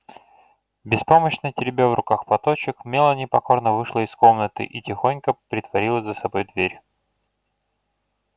беспомощно теребя в руках платочек мелани покорно вышла из комнаты и тихонько притворила за собой дверь